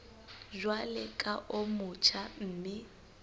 jwalo ka o motjha mme